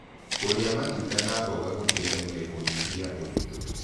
Kũrĩa matunda na mboga gũteĩthagĩa kũnyĩhĩa ũrĩtũ